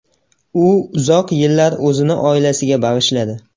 U uzoq yillar o‘zini oilasiga bag‘ishladi.